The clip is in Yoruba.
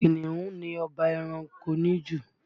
Kìnnìún ni ọba ẹranko níjù